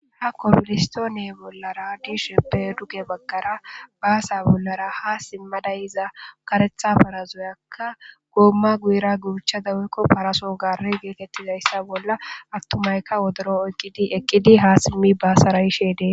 ha komolistoone bollara diisheppe duge baggara baasa bollara ha simmadayiza karetha parazoyakka goomma guyira guuchada wuykko paraso gaare geekettizayssa bolla attumayka wodoro oykqidi eqqidi ha simmi baasara ishedee